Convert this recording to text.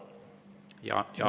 Jaanuari.